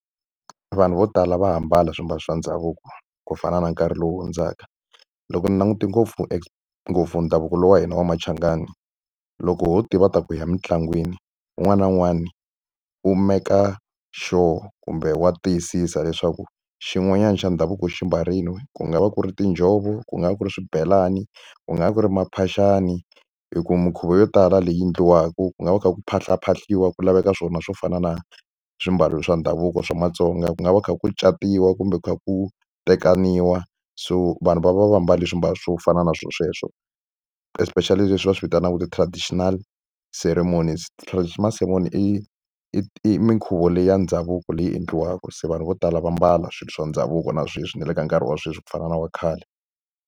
Vanhu vo tala va ha ambala swiambalo swa ndhavuko ku fana na nkarhi lowu hundzaka. Loko ni langute ngopfu ngopfu ndhavuko lowu wa hina wa Machangani, loko ho tiva ta ku hi ya mitlangwini un'wana na un'wana u meka sure kumbe wa tiyisisa leswaku xin'wanyana xa ndhavuko u xi ambarile. Ku nga va ku ri tinjhovo, ku nga va ku ri swibelani, ku nga va ku ri maphaxani. Hi ku minkhuvo yo tala leyi endliwaka ku nga va ku kha ku phahlaphahliwa, ku laveka swona swo fana na swiambalo swa ndhavuko swa Matsonga. Ku nga va kha ku catiwa kumbe ku kha ku tekaniwa, so vanhu va va va mbale swiambalo swo fana na swona sweswo. Especially leswi va swi vitanaka ti-traditional ceremonies. Ti-traditional ceremony i i i minkhuvo leyi ya ndhavuko leyi endliwaka. Se vanhu vo tala va ambala swilo swa ndhavuko na sweswi na le ka nkarhi wa sweswi ku fana na wa khale.